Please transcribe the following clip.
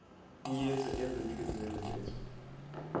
kuyesu ezintliziyweni zethu